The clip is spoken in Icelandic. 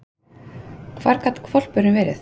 Hvar gat hvolpurinn verið?